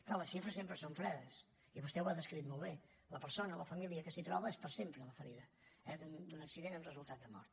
clar les xifres sempre són fredes i vostè ho ha descrit molt bé per a la persona la família que s’hi troba és per sempre la ferida eh d’un accident amb resultat de mort